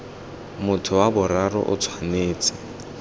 motho wa boraro o tshwanetse